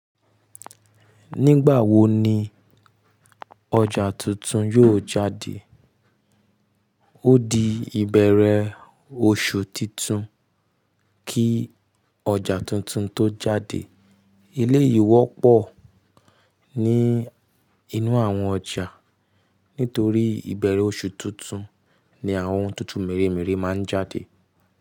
Nígbà wo ni ọjà tuntun yóò jáde? Ó di ìbẹ̀rẹ̀ oṣù titun kí ọjà tuntun tó jáde. Ilé ìwọ́pọ̀ ní inú àwọn ọjà nítorí ìbẹ̀rẹ̀ oṣù tuntun ni àwọn ohun tuntun mèremère máa ń jáde.